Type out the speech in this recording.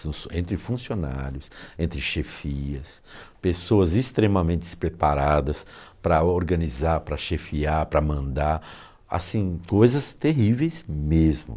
entre funcionários, entre chefias, pessoas extremamente despreparadas para organizar, para chefiar, para mandar, assim, coisas terríveis mesmo.